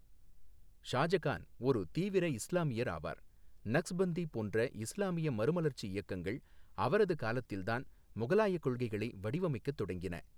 ஷாஜகான் ஒரு தீவிர இஸ்லாமியர் ஆவார், நக்ஸ்பந்தி போன்ற இஸ்லாமிய மறுமலர்ச்சி இயக்கங்கள் அவரது காலத்தில்தான் முகலாயக் கொள்கைகளை வடிவமைக்கத் தொடங்கின.